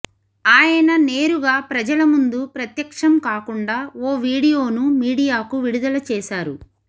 ఆయన నేరుగా ప్రజల ముందు ప్రత్యక్షం కాకుండా ఓ వీడియోను మీడియాకు విడుదల చేశారు